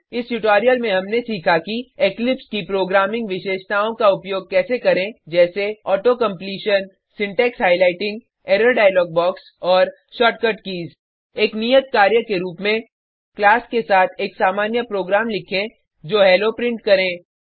इस ट्यूटोरियल में हमने सीखा कि इक्लिप्स की प्रोग्रामिंग विशेषताओं का उपयोग कैसे करें जैसे auto completion syntax highlighting error dialog box और शॉर्टकट कीज़ एक नियत कार्य के रुप में क्लास के साथ एक सामान्य प्रोग्राम लिखें जो हेलो प्रिंट करे